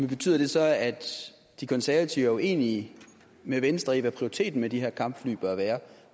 betyder det så at de konservative er uenige med venstre i hvad prioriteten med de her kampfly bør være